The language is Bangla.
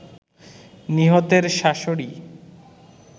নিহতের শাশুড়ি